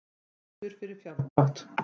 Dæmdur fyrir fjárdrátt